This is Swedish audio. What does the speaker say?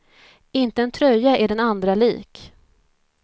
Inte en tröja är den andra lik.